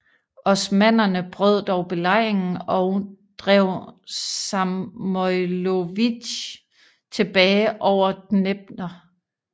Osmannerne brød dog belejringen og drev Samojlovitj tilbage over Dnepr